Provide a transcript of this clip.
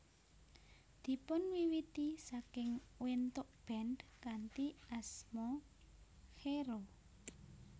Dipunwiwiti saking wentuk band kanthi asma Xero